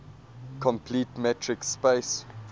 complete metric space